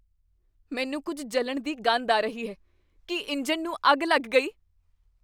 ਮੈਨੂੰ ਕੁੱਝ ਜਲਣ ਦੀ ਗੰਧ ਆ ਰਹੀ ਹੈ। ਕੀ ਇੰਜਣ ਨੂੰ ਅੱਗ ਲੱਗ ਗਈ?